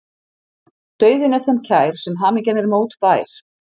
Dauðinn er þeim kær sem hamingjan er mótbær.